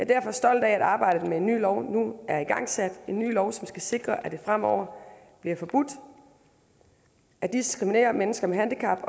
derfor stolt af at arbejdet med en ny lov nu er igangsat en ny lov som skal sikre at det fremover bliver forbudt at diskriminere mennesker med handicap